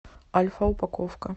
альфа упаковка